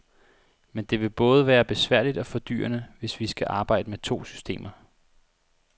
Men det vil både være besværligt og fordyrende, hvis vi skal arbejde med to systemer.